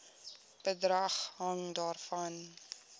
bedrag hang daarvan